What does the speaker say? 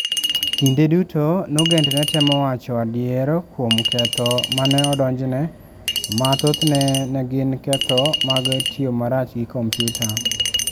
Kinde duto Nugent ne temo wacho adier kuom ketho ma ne odonjne, ma thothne ne gin ketho mag "tiyo marach gi kompyuta".